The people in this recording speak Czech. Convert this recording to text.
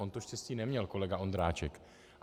On to štěstí neměl, kolega Ondráček.